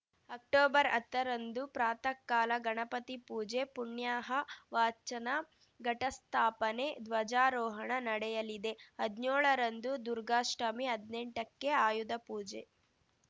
ಅಕ್ಟೊಬರ್ಹತ್ತರಂದು ಪ್ರಾಥಃ ಕಾಲ ಗಣಪತಿ ಪೂಜೆ ಪುಣ್ಯಾಹ ವಾಚನ ಘಟಸ್ಥಾಪನೆ ಧ್ವಜಾರೋಹಣ ನಡೆಯಲಿದೆ ಹದ್ನ್ಯೋಳರಂದು ದುರ್ಗಾಷ್ಠಮಿ ಹದ್ನೆಂಟಕ್ಕೆ ಆಯುಧ ಪೂಜೆ